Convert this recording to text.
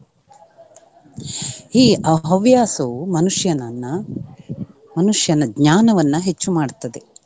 ಈ ಹ~ ಹವ್ಯಾಸವು ಮನುಷ್ಯನನ್ನ ಮನುಷ್ಯನ ಜ್ಞಾನವನ್ನ ಹೆಚ್ಚು ಮಾಡ್ತದೆ.